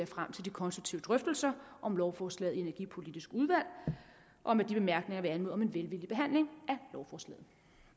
frem til de konstruktive drøftelser om lovforslaget i det energipolitiske udvalg og med de bemærkninger vil jeg anmode om en velvillig behandling af lovforslaget